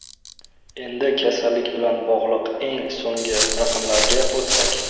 Endi kasallik bilan bog‘liq eng so‘nggi raqamlarga o‘tsak.